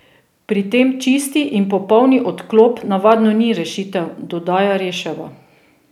Pri tem čisti in popolni odklop navadno ni rešitev, dodaja Reševa.